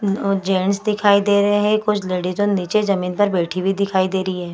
Gents दिखाई दे रहे हैं कुछ लेडिसे नीचे जमीन पर बैठी हुई दिखाई दे रही है ।